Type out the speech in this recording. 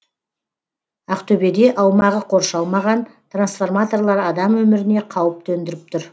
ақтөбеде аумағы қоршалмаған трансформаторлар адам өміріне қауіп төндіріп тұр